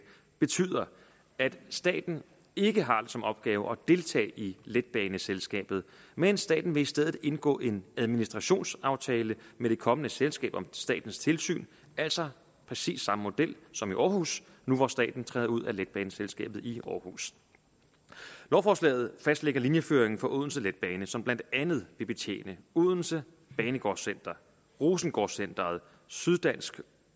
betyder at staten ikke har det som opgave at deltage i letbaneselskabet men staten vil i stedet indgå en administrationsaftale med det kommende selskab om statens tilsyn altså præcis samme model som i aarhus nu hvor staten træder ud af letbaneselskabet i aarhus lovforslaget fastlægger linjeføringen for odense letbane som blandt andet vil betjene odense banegårdscenter rosengårdscenteret syddansk